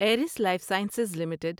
iris Life Sciences limited